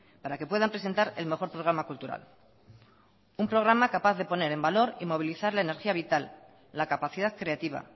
para que puedan presentar el mejor programa cultural un programa capaz de poner en valor y movilizar la energía vital la capacidad creativa